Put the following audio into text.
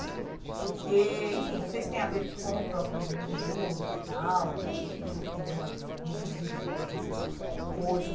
Porque enfim Não sei se tem a ver com o próprio governo Lula e tal, que deu uma reduzida na nessas forças.